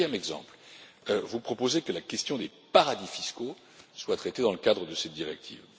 Deuxième exemple, vous proposez que la question des paradis fiscaux soit traitée dans le cadre de cette directive.